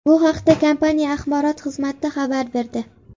Bu haqda kompaniya axborot xizmati xabar berdi .